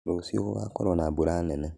Rũciũ gũgakorwo na mbura nene